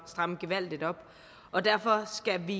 stramme gevaldigt op og derfor skal vi